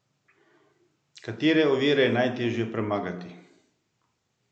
Katere ovire je najteže premagati?